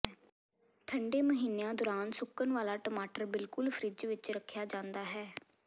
ਠੰਡੇ ਮਹੀਨਿਆਂ ਦੌਰਾਨ ਸੁੱਕਣ ਵਾਲਾ ਟਮਾਟਰ ਬਿਲਕੁਲ ਫਰਿੱਜ ਵਿੱਚ ਰੱਖਿਆ ਜਾਂਦਾ ਹੈ